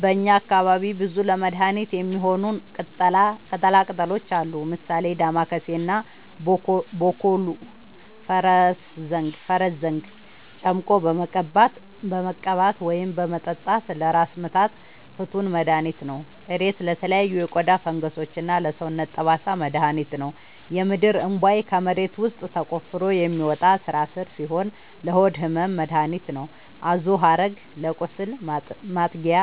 በእኛ አካባቢ ብዙ ለመድሀነት የሚሆኑ ቅጠላ ቅጠሎች አሉ። ምሳሌ፦ ዳማከሴ እና ቦኮሉ(ፈረስዘንግ) ጨምቆ በመቀባት ወይም በመጠጣት ለራስ ምታት ፍቱን መድሀኒት ነው። እሬት ለተለያዩ የቆዳ ፈንገሶች እና ለሰውነት ጠባሳ መድሀኒት ነው። የምድርእንቧይ ከመሬት ውስጥ ተቆፍሮ የሚወጣ ስራስር ሲሆን ለሆድ ህመም መደሀኒት ነው። አዞሀረግ ለቁስል ማጥጊያ